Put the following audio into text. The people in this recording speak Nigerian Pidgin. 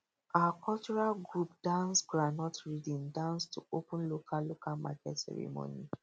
our cultural group dance groundnut rhythm dance to open local local market ceremony